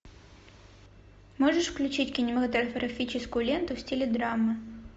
можешь включить кинематографическую ленту в стиле драмы